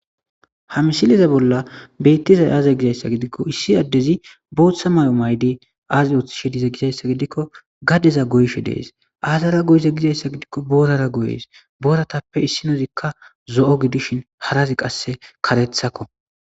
hamsileza bolla beettizay aaza gizayssa gidikko issi addezi booththa may7o maydi aazi ooththishe dize gizayssa gidikko gaddeza goyshe dees aazara goyze gizayssa gidikko boorara goyees booratappe issinozikka zo7o gidishin harazi qasse karethakko